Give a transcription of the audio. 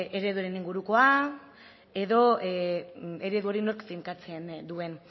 ereduen ingurukoa edo eredu hori nork finkatzen duen